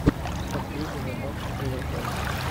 последнего матча эвертон